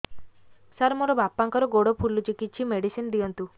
ସାର ମୋର ବାପାଙ୍କର ଗୋଡ ଫୁଲୁଛି କିଛି ମେଡିସିନ ଦିଅନ୍ତୁ